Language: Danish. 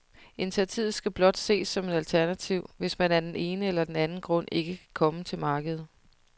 Initiativet skal blot ses som et alternativ, hvis man af den ene eller anden grund ikke kan komme til markedet.